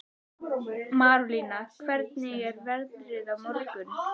Marólína, hvernig er veðrið á morgun?